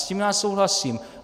S tím já souhlasím.